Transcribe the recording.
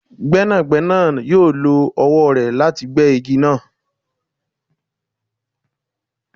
Gbẹnagbẹna yoo lo ọwọ rẹ lati gbe igi naa